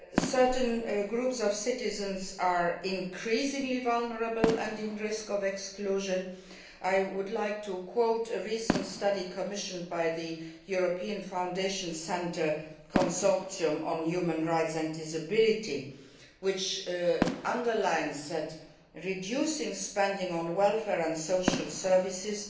Certain groups of citizens are increasingly vulnerable and at risk of exclusion. I would like to quote a recent study commissioned by the European Foundation Centre's Consortium on Human Rights and Disability, which stresses that reducing spending on welfare and social services